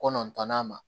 Kɔnɔntɔnnan ma